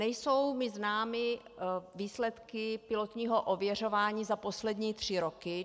Nejsou mi známy výsledky pilotního ověřování za poslední tři roky.